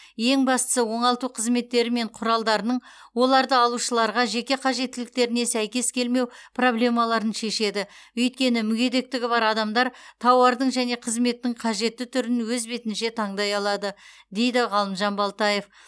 ең бастысы оңалту қызметтері мен құралдарының оларды алушыларға жеке қажеттіліктеріне сәйкес келмеу проблемаларын шешеді өйткені мүгедектігі бар адамдар тауардың және қызметтің қажетті түрін өз бетінше таңдай алады дейді ғалымжан балтаев